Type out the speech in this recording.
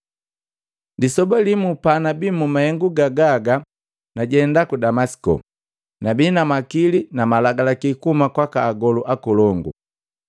“Lisoba limu panabi mu mahengu gagaga najenda ku Damasiko, nabi na makili na malagalaki kuhuma kwaka agolu akolongu.